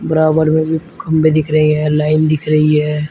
बराबर में भी खम्भे दिख रहे हैं लाइन दिख रही है।